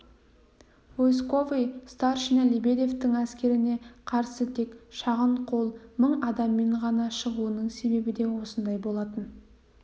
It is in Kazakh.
войсковой старшина лебедевтің әскеріне қарсы тек шағын қол мың адаммен ғана шығуының себебі де осында болатын